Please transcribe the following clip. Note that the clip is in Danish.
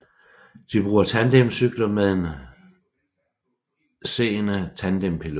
De bruger tandemcykler med en seende tandempilot